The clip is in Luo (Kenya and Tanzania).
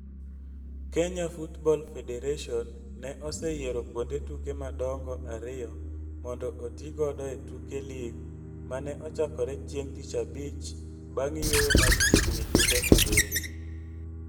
Kenya Football Federation ne oseyiero kuonde tuke madongo ariyo mondo oti godo e tuke lig ma ne ochakore chieng' tich abich bang' yueyo mar chiegni jumbe abirio.